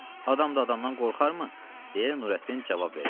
Adam da adamdan qorxarmı? - deyə Nurəddin cavab verdi.